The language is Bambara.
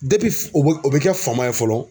Depi f o br o be kɛ fama ye fɔlɔ